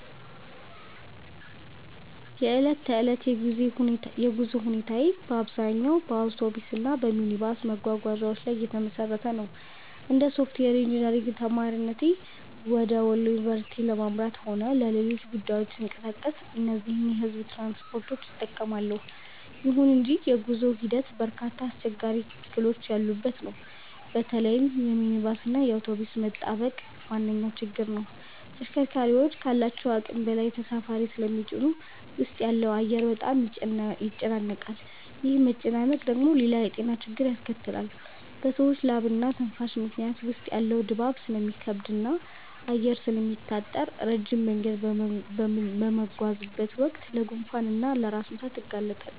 የዕለት ተዕለት የጉዞ ሁኔታዬ በአብዛኛው በአውቶቡስ እና በሚኒባስ መጓጓዣዎች ላይ የተመሰረተ ነው። እንደ ሶፍትዌር ኢንጂነሪንግ ተማሪነቴ ወደ ወሎ ዩኒቨርሲቲ ለማምራትም ሆነ ለሌሎች ጉዳዮች ስንቀሳቀስ እነዚህን የሕዝብ ትራንስፖርቶች እጠቀማለሁ። ይሁን እንጂ የጉዞው ሂደት በርካታ አስቸጋሪ እክሎች ያሉበት ነው። በተለይም የሚኒባስ እና የአውቶቡስ መጣበቅ ዋነኛው ችግር ነው። ተሽከርካሪዎቹ ካላቸው አቅም በላይ ተሳፋሪ ስለሚጭኑ ውስጥ ያለው አየር በጣም ይጨናነቃል። ይህ መጨናነቅ ደግሞ ሌላ የጤና ችግር ያስከትላል፤ በሰዎች ላብና ትንፋሽ ምክንያት ውስጥ ያለው ድባብ ስለሚከብድና አየር ስለሚታጠር፣ ረጅም መንገድ በምጓዝበት ወቅት ለጉንፋን እና ለራስ ምታት እጋለጣለሁ